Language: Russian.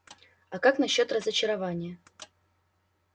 а как насчёт разочарования